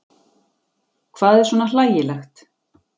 Hvað er svona hlægilegt?